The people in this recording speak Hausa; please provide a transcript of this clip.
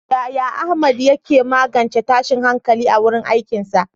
Yaya Ahmad ya ke magance tashin hankali a wurin aikinsa?